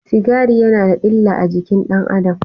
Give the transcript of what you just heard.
Sigari yana da illa a jikin ɗan Adam.